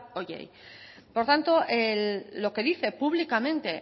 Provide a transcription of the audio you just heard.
horiei por tanto lo que dice públicamente